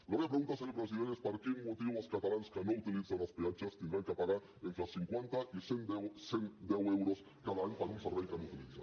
la meva pregunta senyor president és per quin motiu els catalans que no utilitzen els peatges hauran de pagar entre cinquanta i cent deu euros cada any per un servei que no utilitzen